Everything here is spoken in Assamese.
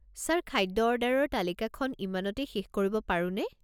ছাৰ, খাদ্য অৰ্ডাৰৰ তালিকাখন ইমানতেই শেষ কৰিব পাৰোঁনে?